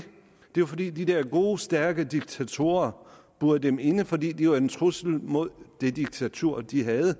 jo fordi de der gode stærke diktatorer burede dem inde fordi de var en trussel mod det diktatur de havde